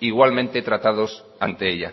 igualmente tratados ante ella